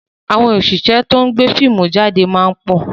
Àwọn òṣìṣẹ́ to ń gbé fíìmù jáde máa ń pọ̀